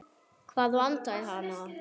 Hvað vantar hana?